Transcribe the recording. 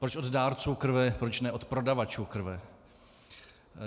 Proč od dárců krve, proč ne od prodavačů krve?